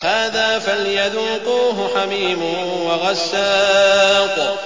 هَٰذَا فَلْيَذُوقُوهُ حَمِيمٌ وَغَسَّاقٌ